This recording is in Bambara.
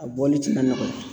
A bɔli ti na nɔgɔya.